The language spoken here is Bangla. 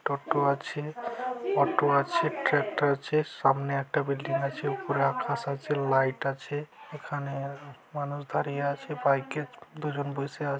টোটা আছে অটো আছে ট্রাক্টর আছে সামনে একটা বিল্ডিং আছে উপরে আকাশ আছে লাইট আছে এখানে আহ মানুষ দাঁড়িয়ে আছে বাইক -এ দুজন বসে আ--